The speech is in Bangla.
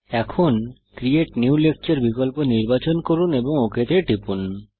এখন ক্রিয়েট নিউ লেকচার বিকল্প নির্বাচন করুন এবং ওক তে টিপুন